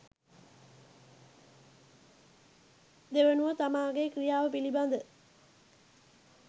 දෙවනුව තමාගේ ක්‍රියාව පිළිබඳ